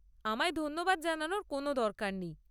আমায় ধন্যবাদ জানানোর কোনও দরকার নেই।